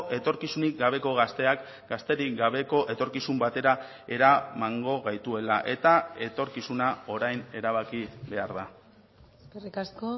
etorkizunik gabeko gazteak gazterik gabeko etorkizun batera eramango gaituela eta etorkizuna orain erabaki behar da eskerrik asko